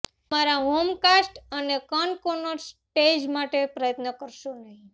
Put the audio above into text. તમારા home fast અને cut corners stage માટે પ્રયત્ન કરશો નહીં